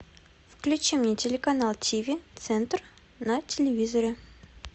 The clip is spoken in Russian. включи мне телеканал тв центр на телевизоре